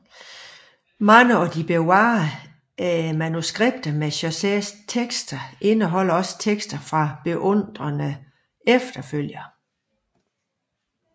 Mange af de bevarede manuskripter med Chaucers tekster indeholder også tekster fra beundrende efterfølgere